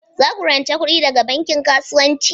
Za ku rance kuɗi daga banki kasuwanci?